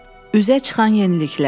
Üzə çıxan yeniliklər.